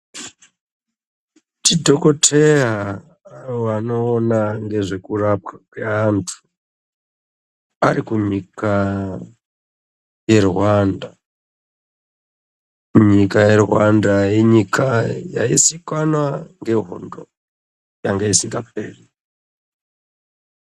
Dhokoteya vanoona ngezvekurapwa kwevantu ari kunyika yerwanda nyika yerwanda inyika yaizikanwa ngehondo yanga isikaperi.